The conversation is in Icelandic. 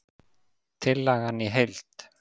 Tillagan í heild